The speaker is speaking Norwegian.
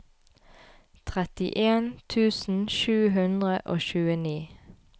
trettien tusen sju hundre og tjueni